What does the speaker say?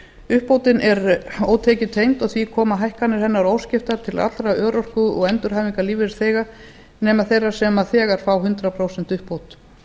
ári uppbótin er ótekjutengd og því koma hækkanir hennar óskiptar til allra örorku og endurhæfingarlífeyrisþega nema þeirra sem þegar fá hundrað prósent uppbót